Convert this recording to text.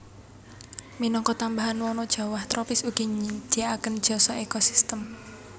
Minangka tambahan wana jawah tropis ugi nyadhiaaken jasa ekosistem